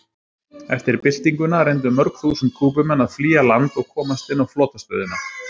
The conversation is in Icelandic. Eftir byltinguna reyndu mörg þúsund Kúbumenn að flýja land og komast inn á flotastöðina.